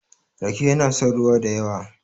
rake yana son ruwa da yawa